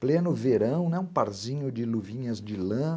Pleno verão, né, um parzinho de luvinhas de lã.